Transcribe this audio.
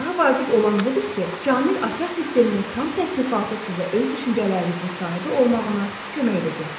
Daha vacib olan budur ki, Kamil Açar Sisteminin tam təsnifatı sizə öz düşüncələrinizin sahibi olmağını kömək edəcəkdir.